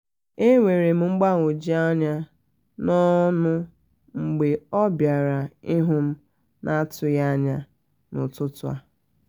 e nwerem mgbagwoju anya na ọṅụ mgbe ọ bịara ihu m na atughi anya ya na ọtụtụ